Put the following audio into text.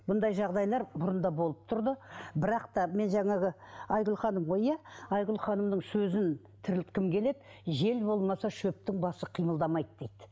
бұндай жағдайлар бұрында болып тұрды бірақ та мен жаңағы айгүл ханым ғой иә айгүл ханымның сөзін тірілткім келеді жел болмаса шөптің басы қимылдамайды дейді